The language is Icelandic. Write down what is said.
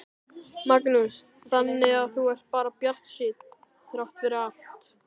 Magnús: Þannig að þú ert bara bjartsýnn þrátt fyrir allt?